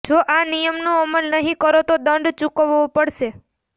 જો આ નિયમનો અમલ નહીં કરો તો દંડ ચૂકવવો પડશે